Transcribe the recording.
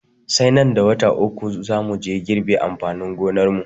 Sai nan da wata uku za muje girbe amfanin gonarmu.